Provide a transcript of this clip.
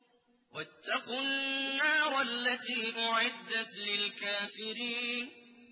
وَاتَّقُوا النَّارَ الَّتِي أُعِدَّتْ لِلْكَافِرِينَ